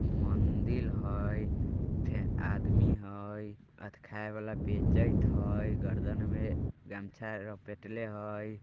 मंदिल हयफेन आदमी हय अथ खाय वाला बेचत हय गर्दन में गमछा लपेटले हय।